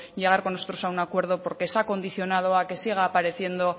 llegar con nosotros a un acuerdo porque se ha condicionado a que siga apareciendo